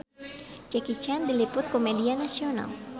Jackie Chan diliput ku media nasional